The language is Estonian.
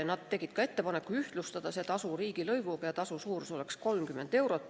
Nad tegid ettepaneku ühtlustada see tasu riigilõivuga, nii et tasu suurus oleks 30 eurot.